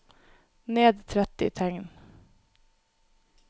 Ned tretti tegn